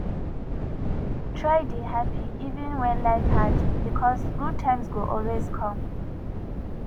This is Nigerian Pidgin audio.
try dey happy even when life hard because good times go always come